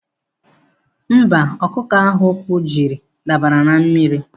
Mba, ọkụkọ ahụ ụkwụ jiri dabara na mmiri.